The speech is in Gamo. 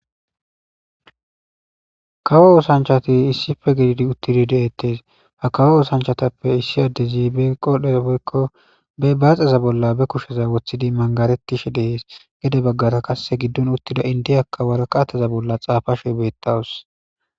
kawo oosanchati issife gididi uttidi deettes ha kawo oosanchatappe issi addezi be qodhdheza woykko be baaxeza bolla be kusheza wothidi mangaretishe deees gede baggara kasse giddon uttida indiyaka warqateza bolla xaafashe beettawus